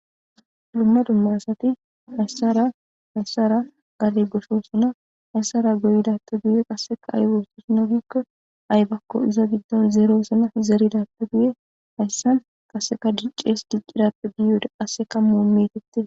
Dumma dumma asati masraan gadde goyossona massaran gadde goyidappe guye qassikka aybakko zerrossonna zeridappe guye dicces diccidappe guye mettetees.